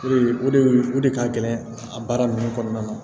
O de o de o de ka gɛlɛn a baara ninnu kɔnɔna na